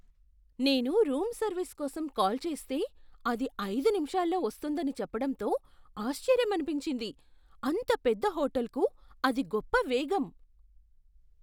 నేను room service కోసం call చేస్తే, అది ఐదు నిమిషాల్లో వస్తుందని చెప్పడంతో ఆశ్చర్యమనిపించింది. అంత పెద్ద హోటల్కు అది గొప్ప వేగం!